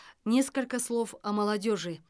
несколько слов о молодежи